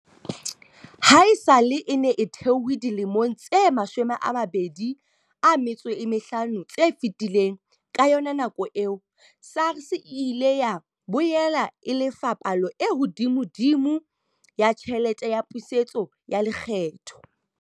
Ha esale e ne e thehwe dilemong tse 25 tse fetileng, ka yona nako eo, SARS e ile ya boela e lefa palo e hodimodimo ya tjhelete ya pusetso ya lekgetho.